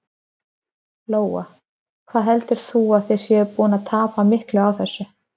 Lóa: Hvað heldur þú að þið séuð að búin að tapa miklu á þessu?